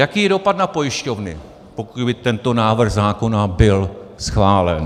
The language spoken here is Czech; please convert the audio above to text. Jaký je dopad na pojišťovny, pokud by tento návrh zákona byl schválen?